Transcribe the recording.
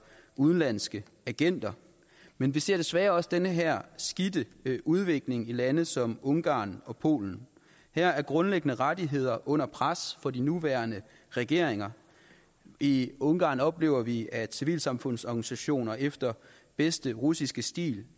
udenlandske agenter men vi ser desværre også den her skidte udvikling i lande som ungarn og polen her er grundlæggende rettigheder under pres fra de nuværende regeringer i ungarn oplever vi at civilsamfundsorganisationer efter bedste russiske stil